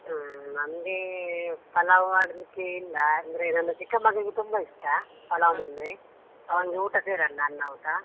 ಹ್ಮ್, ನಮ್ಗೆ ಪಲಾವ್ ಮಾಡ್ಲಿಕ್ಕೆ ಇಲ್ಲ ಅಂದ್ರೆ ನನ್ನ ಚಿಕ್ಕ ಮಗನಿಗೆ ತುಂಬಾ ಇಷ್ಟ. ಪಲಾವ್ ಅಂದ್ರೆ. ಅವನ್ಗೆ ಊಟ ಸೇರಲ್ಲ ಅನ್ನ ಊಟ.